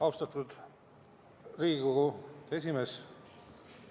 Austatud Riigikogu esimees!